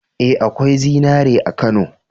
Ee, akwai zinari a Kano.